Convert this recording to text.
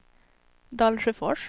Dalsjöfors